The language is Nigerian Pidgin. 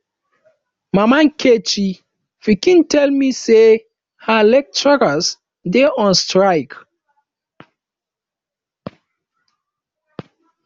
mama nkechi pikin tell me say her lecturers dey on strike